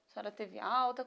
A senhora teve alta?